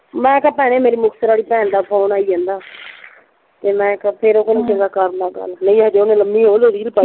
ਮੈਂ ਕਿਹਾ ਭੈਣੇ ਮੇਰੀ ਮੁਕਤਸਰ ਆਲੀ ਭੈਣ ਦਾ ਫੋਨ ਆਈ ਜਾਂਦਾ ਤੇ ਮੈਂ ਕਿਹਾ ਫੇਰ ਉਹ ਕਹਿੰਦੀ ਚੰਗਾ ਕਰਲਾ ਗੱਲ ਨਹੀਂ ਹਜੇ ਉਹਨੇ ਲੰਬੀ ਉਹਨੇ ਰੀਲ ਪਾਈ